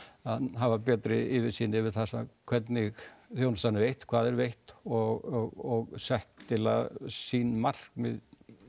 hafa betri yfirsýn yfir það hvernig þjónustan er veitt hvað er veitt og sett sýn markmið